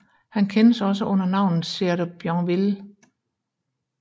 Han kendes også under navnet Sieur de Bienville